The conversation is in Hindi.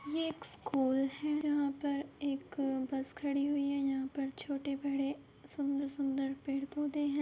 ये एक स्कूल है। यहां पर एक बस खड़ी हुई है। यहां पर छोटे बड़े सुंदर-सुंदर पेड़-पौधे हैं।